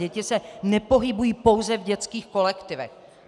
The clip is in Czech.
Děti se nepohybují pouze v dětských kolektivech.